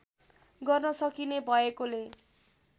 गर्न सकिने भएकोले